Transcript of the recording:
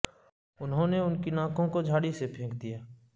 انہوں نے ان کی ناکوں کو جھاڑی سے پھینک دیا